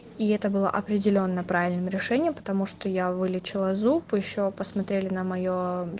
и это было определено правильным решением потому что я вылечила зуб ещё посмотрели на моё